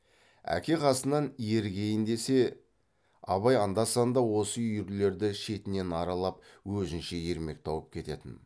әке қасынан ерігейін десе абай анда санда осы үйірлерді шетінен аралап өзінше ермек тауып кететін